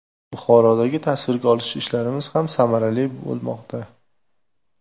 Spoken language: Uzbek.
Buxorodagi tasvirga olish ishlarimiz ham samarali bo‘lmoqda.